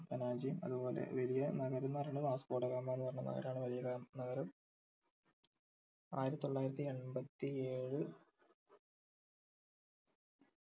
പനാജി അതുപോലെ വലിയ നഗരം എന്ന് പറയുന്നത് വാസ്കോ ഡ ഗാമ എന്ന് പറഞ്ഞ നഗരാണ് വലിയ നഗരം ആയിരത്തിത്തൊള്ളായിരത്തിഎൻപത്തി ഏഴ്